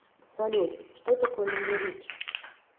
салют что такое леверидж